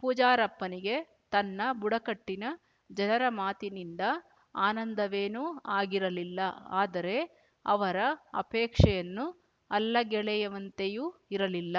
ಪೂಜಾರಪ್ಪನಿಗೆ ತನ್ನ ಬುಡಕಟ್ಟಿನ ಜನರ ಮಾತಿನಿಂದ ಆನಂದವೇನೂ ಆಗಿರಲಿಲ್ಲ ಆದರೆ ಅವರ ಅಪೇಕ್ಷೆಯನ್ನು ಅಲ್ಲಗೆಳೆಯುವಂತೆಯೂ ಇರಲಿಲ್ಲ